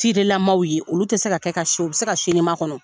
Ci de la maaw ye, olu tɛ se ka kɛ ka si, u bɛ se ka sini makɔnɔ.